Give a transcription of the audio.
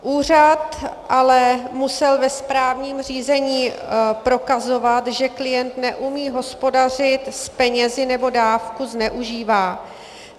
Úřad ale musel ve správním řízení prokazovat, že klient neumí hospodařit s penězi nebo dávku zneužívá.